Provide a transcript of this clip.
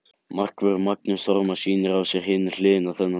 Markvörðurinn Magnús Þormar sýnir á sér hina hliðina þennan daginn.